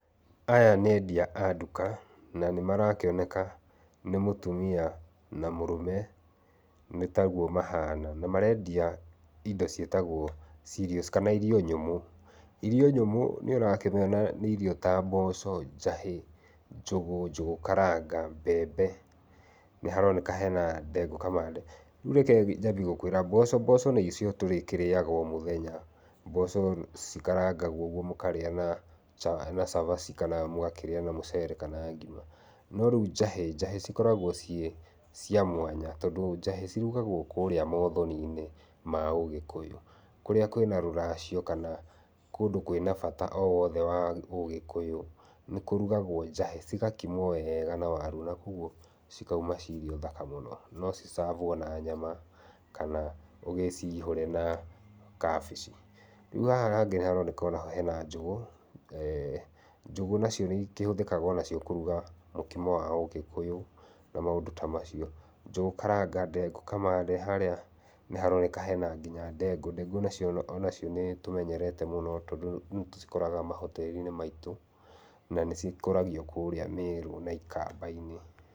Aya nĩ endia a nduka, na nĩ marakĩoneka nĩ mũtumia na mũrũme, nĩ taguo mahana. Na mareendia indo ciĩtagwo cereals kana irio nyũmũ. Irio nyũmũ nĩ ũrakĩmĩona nĩ irio ta mboco, njahĩ, njũgũ, njũgũ karanga, mbembe, nĩ haroneka hena ndengũ kamande. Rĩu reke njambie gũkwĩra, mboco, mboco nĩcio tũrĩkĩrĩaga o mũthenya. Mboco cikarangawo ũguo mũkarĩa na cabaci, kana mugakĩrĩa na mũcere kana ngima. No rĩu njahĩ, njahĩ cikoragwo ciĩ cia mwanya tondũ njahĩ cirugagwo kũrĩa maũthoni-inĩ ma ũgĩkũyũ, kũrĩa kwĩna rũracio kana kũndũ kwĩna bata o wothe wa ũgĩkũyũ, nĩ kũrugagwo njahĩ. Cigakimwo wega na waru na kwoguo cikauma cirĩ irio thaka mũno. No ci serve wo na nyama kana ũgĩciihũre na kabĩci. Rĩu haha hangĩ nĩ haroneka o na ho hena njũgũ, njũgũ nacio nĩ ikĩhũthĩkaga o nacio kũrũga mũkimo wa ũgĩkũyũ na maũndũ ta macio. Njũgu karanga, ndengũ kamande, harĩa nĩ haroneka hena nginya ndengũ. Ndengũ nacio o nacio nĩ tũmenyerete mũno tondũ nĩ tũcikoraga ma hotel i-inĩ maitũ na nĩ cikũragio kũrĩa Merũ na ikamba-inĩ.